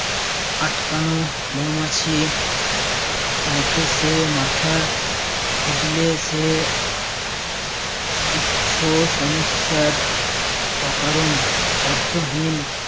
আটকানো মৌমাছির মত সে মাথা খুঁজলে সে উৎস সমস্যার অকারণ অর্থহীন